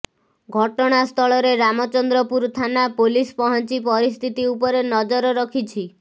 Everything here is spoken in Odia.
ଘଟଣାସ୍ଥଳରେ ରାମଚନ୍ଦ୍ରପୁର ଥାନା ପୋଲିସ ପହଞ୍ଚି ପରିସ୍ଥିତି ଉପରେ ନଜର ରଖିଛି